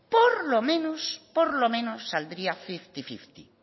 por lo menos saldría fifty fifty